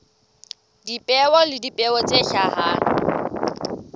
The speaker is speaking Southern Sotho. dipeo le dipeo tse hlahang